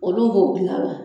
Olu b'o gilan la.